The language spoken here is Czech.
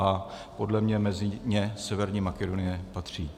A podle mě mezi ně Severní Makedonie patří.